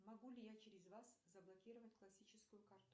могу ли я через вас заблокировать классическую карту